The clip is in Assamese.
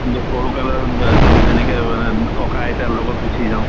যে সৰু কালত আ যেনেকে মানে ককা আইতাৰ লগত গুছি যাওঁ।